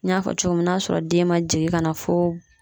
N y'a fɔ cogo min n'a sɔrɔ den ma jigin ka na fo